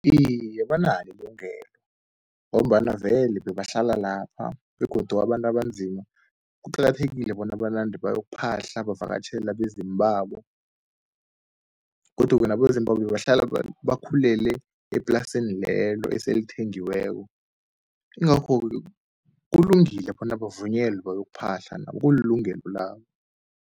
Iye, banalo ilungelo ngombana vele bebahlala lapha begodu abantu abanzima, kuqakathekile bona banande bayokuphahla bavakatjhele abezimu babo. Godu-ke nabezimu babo bebahlala bakhulele eplasini lelo esele lithengiweko. Ingakho-ke kulungile bona bavunyelwe bayokuphahla nabo kulilungelo labo.